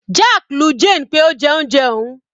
Jack lu Jane pé ó jẹ oúnjẹ òun.